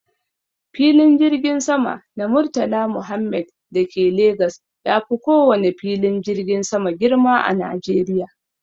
Filin jirgin sama na murtala muhammed dake Legas yafi kowane filin jirgin sama girma a Najeriya